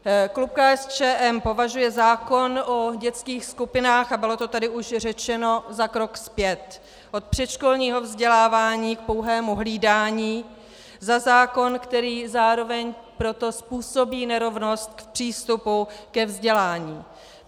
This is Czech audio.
Klub KSČM považuje zákon o dětských skupinách, a bylo to tady už řečeno, za krok zpět od předškolního vzdělávání k pouhému hlídání, za zákon, který zároveň proto způsobí nerovnost v přístupu ke vzdělání.